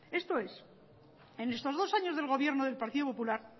esto es en estos dos años de gobierno del partido popular